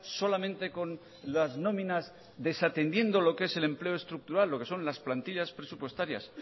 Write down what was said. solamente con las nóminas desatendiendo lo que es el empleo estructural lo que son las plantillas presupuestarias